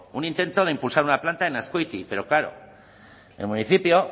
un intento de impulsar una planta en azkoitia pero claro el municipio